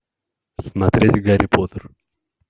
смотреть гарри поттер